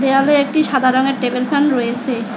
দেওয়ালে একটি সাদা রঙের টেবিল ফ্যান রয়েছে।